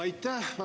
Aitäh!